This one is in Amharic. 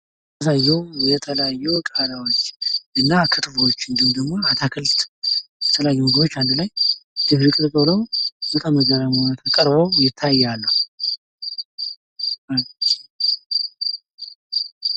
በምስሉ የሚያሳየው የተለያዩ ቃሪያዎች እና ክትፎዎች እንዲሁም ደሞ አታክልት፣ የተለያዩ ምግቦች አንድላይ ድብልቅልቅ ሁነው ፤ በብዙ ቀለም ሁነው ቀርበው ይታያሉ ።